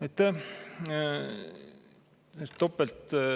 Aitäh!